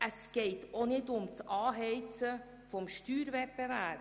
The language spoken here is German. Es geht auch nicht um das Anheizen des Steuerwettbewerbs.